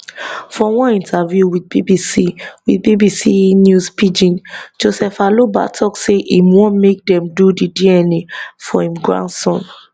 for one interview wit bbc wit bbc news pidgin joseph aloba tok say im want make dem do di dna for im grandson